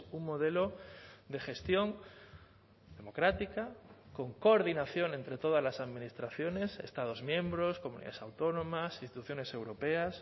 un modelo de gestión democrática con coordinación entre todas las administraciones estados miembros comunidades autónomas instituciones europeas